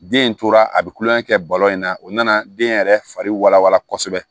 Den in tora a bɛ kulonkɛ kɛ balo in na o nana den yɛrɛ fari kosɛbɛ